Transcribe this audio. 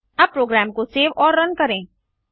अब प्रोग्राम को सेव और रन करें